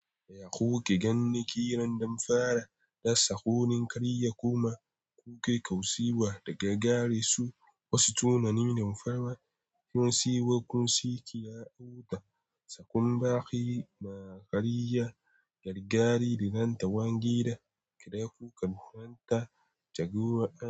Ya kuke ganin ƙiran damfara da tsakunin ƙarya, yaya kuma kuke kaucewa daga garesu? Wasu tunanin damfara sun siyo kunski da auta, tsakun baƙi ma ƙarya gargari da ranta wange da kira kuka ranta jagora a.